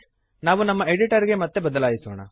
ನಾವು ನಮ್ಮ ಎಡಿಟರ್ ಗೆ ಮತ್ತೆ ಬದಲಾಯಿಸೋಣ